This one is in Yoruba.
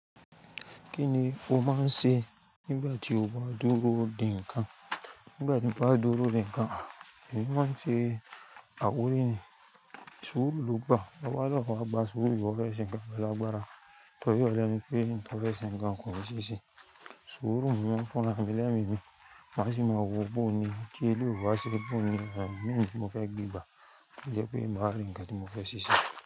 Kíni ó máa ń ṣe nígbà tí ó bá dúró de nkan? Nígbà tí n bá dúró dí ǹkan, èmi máa ń ṣe àkórí ni. Suru ló gbà, ọwọ́ lọ́wọ́ bá suru yọ fẹ́ẹ̀ ṣẹńkan, ọlá gbára. Tọ̀yọ́ yàn mí pé, "tọ́ fẹ́ẹ̀ ṣẹńkan kò mọ ṣíṣe." Suru mi wọ́n fún lára mi lẹ́mi ni, màá sì máa wo bó ni kí èélú wa ṣe bó ni àwọn mìíràn tí wọ́n fẹ́ gbé gbà kí ó lè pé ìbáraẹngba tí ó mọ́ fẹ́ ṣíṣe.